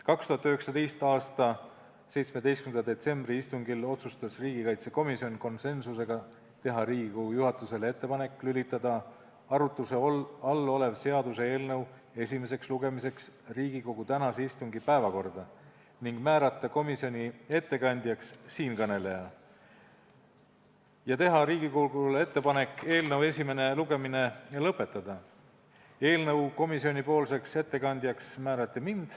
2019. aasta 17. detsembri istungil otsustas riigikaitsekomisjon konsensusega teha Riigikogu juhatusele ettepaneku võtta arutluse all olev seaduseelnõu esimeseks lugemiseks Riigikogu tänase istungi päevakorda, määrata komisjonipoolseks ettekandjaks siinkõneleja ning teha Riigikogule ettepanek eelnõu esimene lugemine lõpetada.